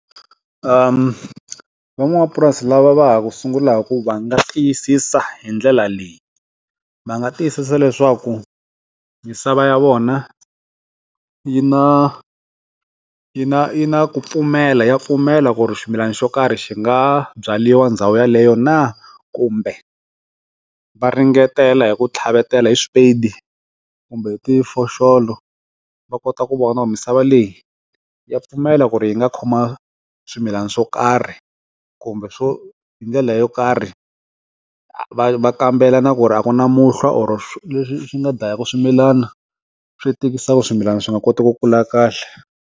Uhm, van'wamapurasi lava va ha ku sungulaka ku va nga tiyisisa hi ndlela leyi va nga tiyisisa leswaku misava ya vona yi na yi na yi na ku pfumela ya pfumela ku ri ximilana xo karhi xi nga byariwa ndhawu yeleyo na kumbe va ringetela hi ku tlhavetela hi swipedi kumbe hi ti foxolo va kota ku vona misava leyi ya pfumela ku ri yi nga khoma swimilana swo karhi kumbe swo hi ndlela yo karhi va va kambela na ku ri a ku na muhlovo leswi swi nga dlayaka swimilana swi tikisa swimilana swi nga koti ku kula kahle.